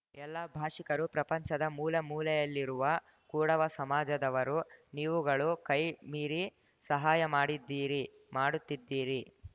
ಎಲ್ಲಾ ಭಾಷಿಕರು ಪ್ರಪಂಚದ ಮೂಲೆ ಮೂಲೆಯಲ್ಲಿರುವ ಕೂಡವ ಸಮಾಜದವರು ನೀವುಗಳು ಕೈ ಮೀರಿ ಸಹಾಯ ಮಾಡಿದ್ದೀರಿ ಮಾಡುತ್ತಿದ್ದೀರಿ